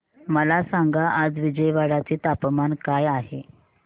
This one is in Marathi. मला सांगा आज विजयवाडा चे तापमान काय आहे